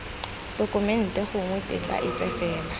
tokumente gongwe tetla epe fela